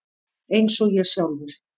Eins og ég sjálfur.